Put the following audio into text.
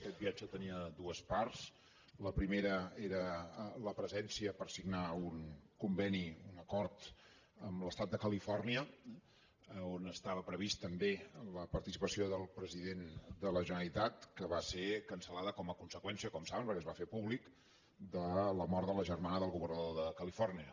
aquest viatge tenia dues parts la primera era la presència per signar un conveni un acord amb l’estat de califòrnia on estava prevista també la participació del president de la generalitat que va ser cancel·saben perquè es va fer públic de la mort de la germana del governador de califòrnia